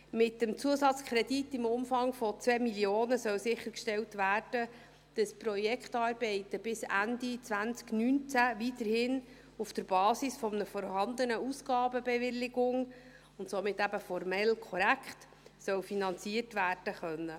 Mit dem Zusatzkredit im Umfang von 2 Mio. Franken soll sichergestellt werden, dass die Projektarbeiten bis Ende 2019 weiterhin auf der Basis einer vorhandenen Ausgabenbewilligung und somit eben formell korrekt finanziert werden können.